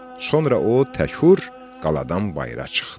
Sonra o təkur qaladan bayıra çıxdı.